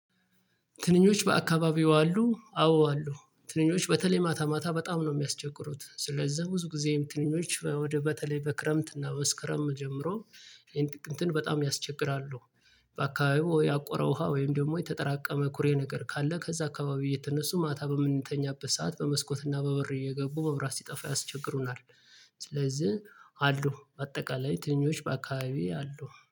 ትንኞች በአካባቢው አሉ አዎ አሉ ትንኞች በተለይ ማታ ማታ በጣም ነው የሚያስቸግሩት ስለዛ ብዙ ጊዜም ትንኞች እ ወደ በተለይ በክረምት እና መስከረም ጀምሮ ይሄን ጥቅምትን በጣም ያስቸግራሉ። በአካባቢዎ ወይ ያቆረው ውሃ ወይም ደግሞ የተጠራቀመ ኩሬ ነገር ካለ ከዛ አካባቢው እየተነሱ ማታ በምንተኛበት ሰዓት በመስኮት እና በበር እየገቡ መብራት ሲጠፋ ያስቸግሩናል። ስለዚህ አሉ በአጠቃላይ ትንኞች በአካባቢዬ አሉ